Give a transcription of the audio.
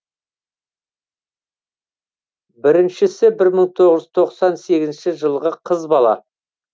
біріншісі бір мың тоғыз жүз тоқсан сегізінші жылғы қыз бала